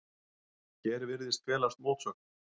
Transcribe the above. Hér virðist felast mótsögn.